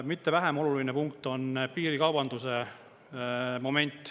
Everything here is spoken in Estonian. Mitte vähem oluline punkt on piirikaubanduse moment.